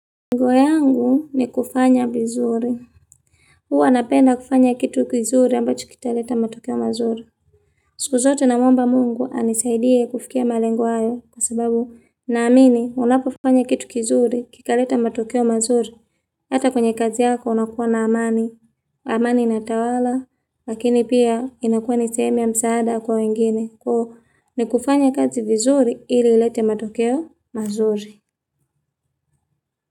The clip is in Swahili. Nguo yangu ni kufanya vizuri. Huwa anapenda kufanya kitu kizuri ambacho kitaleta matokeo mazuri. Siku zote namwomba mungu anisaidie kufikia malengo hayo kwa sababu naamini unapofanya kitu kizuri kikaleta matokeo mazuri Hata kwenye kazi yako unakuwa na amani. Amani inatawala lakini pia inakuwa ni sehemu ya msaada kwa wengine kuhu ni kufanya kazi vizuri ili ilete matokeo mazuri.